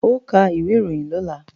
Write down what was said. Ó ka ìwé ìròyìn lọ́la!